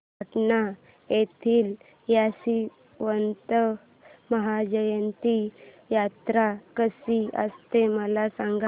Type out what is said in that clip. सटाणा येथील यशवंतराव महाराजांची यात्रा कशी असते मला सांग